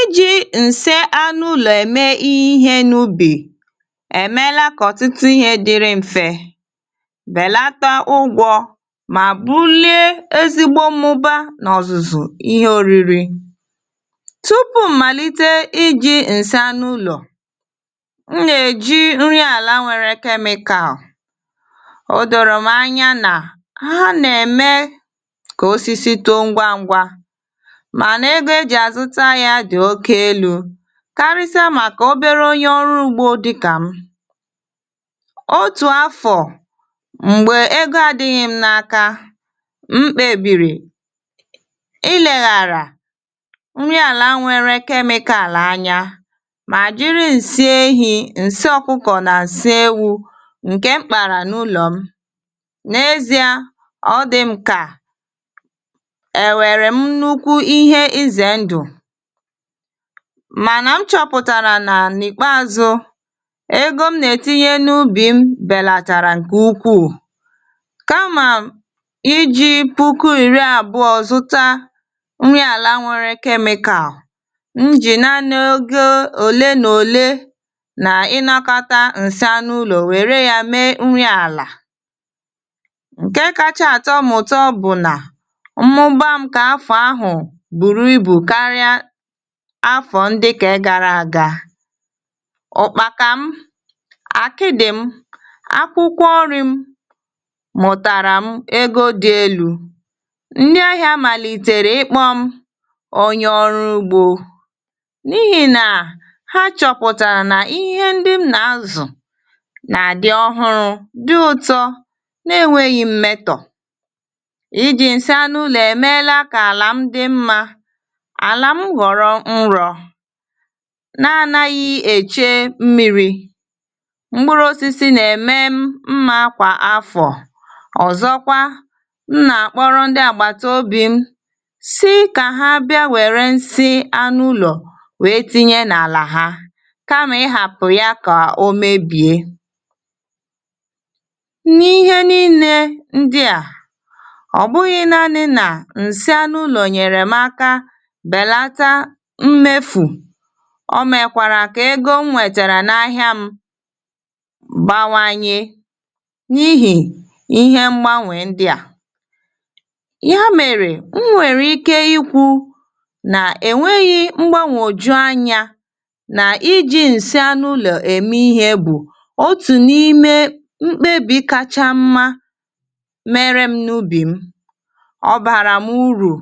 Iji nsị anụ ụlọ̀ èmè ihè n'ụbị̀ èmèèlà kà ọ̀tụ̀tụ̀ ihè dị̀rị m̀fè, bèlàtà ụ̀gwọ̀ mà bùlị̀è èzìgbọ mụ̀bà n'ọ̀zụ̀zụ̀ ihè ọ̀rị̀rị. Tùpù màlị̀tè ịjị̀ nsị anụ ụlọ̀, m nà-èjị̀ nrị àlà nwèrè chemical; ọ dọ̀rọ̀ m ànyà nà hà nà-èmè kà òsịsị tòò ngwa ngwa, mànà egọ̀ ejị̀ àzụ̀tà yá dị̀ òkè èlụ, kàrị̀sị̀à màkà òbèrè ònyè ọ̀rụ̀ ùgbọ̀ dị̀kà m. Ọ̀tù àfọ̀ m̀gbè egò àdị̀ghị̀ m n'ákà, m kpèbìrị̀ ịlèghàrà nrị àlà nwèrè chemical ànyà, mà jị̀ nsị ehị, nsị ọ̀kụ̀kọ̀ nà nsị ewụ̀ ǹke mkpàrà n'ụlọ̀ m. N'èzị̀à, ọ dị̀ m kà-èwèrè m nnùkụ̀ ihè ịzè ndụ̀, mànà nchọ̀pụ̀tàrà nà n'ìkpèázụ̀ egò m nà-ètị̀nị̀yè n'ụbị̀ bèlàtàrà ǹke ùkpụ̀ù, kà mà ịjị̀ pùkù ìrị̀ àbụ̀ọ̀ zụ̀tà nrị àlà nwèrè chemical, m jì nàà n'ògè òlè nà òlè nà ịnàkọ̀tà nsị anụ ụlọ̀ wèrè yá mèè nrị àlà. Ǹkè kàchà àtọ̀ m ụ̀tọ̀ bụ̀ nà mmụ̀bà m àfọ̀ àhụ̀ bùrù ịbụ̀ kàrị̀ àfọ̀ ndị̀ nke gàrà àgà, ụ̀kpàkà m, àkị̀ dị̀ m, akwụ̀kwọ̀ ọ̀rị̀ m, mụ̀tàrà m egọ̀ dị̀ èlụ, ndị̀ àhịa màlị̀tẹ̀rẹ̀ ịkpọ̀ m ònyè ọ̀rụ̀ ùgbọ̀, n'ịhì nà hà chọ̀pụ̀tàrà nà ihè ndị̀ m nà-àzụ̀ nà dị̀ ọ̀hụ̀rụ̀, dị̀ ụ̀tọ̀, nà-ènweghị̀ mmètọ̀. Iji nsị anụ ụlọ̀ èmèèlà kà àlà m dị̀ mmà; àlà m ghọ̀rọ̀ nrọ̀ nà-ànaghị̀ èchè mmị̀rị, mkpụ̀rụ̀ òsịsị nà-èmè mmà kwà àfọ̀. Ọ̀zọ̀kwà, m nà-àkpọ̀rọ̀ ndị̀ àgbà̀tọ̀bì m sị̀ kà hà bị̀à wèrè nsị anụ ụlọ̀ wèè tị̀nị̀yè nà àlà hà, kà mà ị hàpụ̀ yá kà ò mèbị̀è. N'ihè nị̀lì ndị̀ à, ọ bụghị̀ nàànị̀ nà nsị anụ ụlọ̀ nyèrè m àkà bèlàtà mmèfù; ọ mèkwàrà kà egò nwètàrà n' àhịa m bǎwányè n'ịhì ihè mgbanwè ndị̀ à. Yá mèrè m nwèrè ịkè ịkwụ̀ nà-ènweghị̀ mgbanwò jù ànyà nà ịjị̀ nsị anụ ụlọ̀ èmè ihè bụ̀ òtù n'ime mkpèbì kàchà mmà mèrè m n'ụbị̀ m; ọ bàrà m ùrụ̀,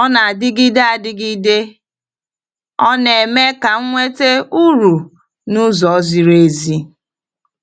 ọ nà dìgìdè àdìgìdè, ọ nà-èmè kà nwètè ùrụ̀ n'ùzọ̀ ziri èzì.